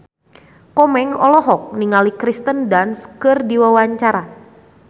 Komeng olohok ningali Kirsten Dunst keur diwawancara